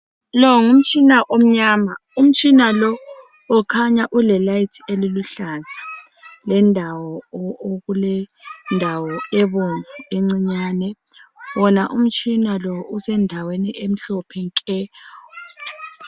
Lo ngumtshina omnyama, umtshina lo ukhanya ulesibane esiluhlaza, kulendawo ebomvu encinyane, wona umtshina lo usendaweni emhlophe nke.